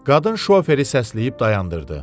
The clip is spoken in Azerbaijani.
Qadın şoferi səsləyib dayandırdı.